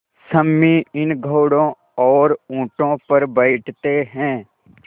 सम्मी इन घोड़ों और ऊँटों पर बैठते हैं